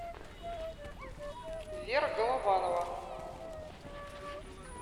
вера голованова